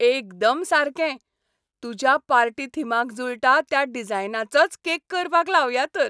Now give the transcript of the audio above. एकदम सारकें ! तुज्या पार्टी थिमाक जुळटा त्या डिजायनाचोच केक करपाक लावया तर.